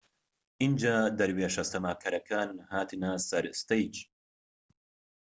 ئینجا دەورێشە سەماکەرەکان هاتنە سەر ستەیج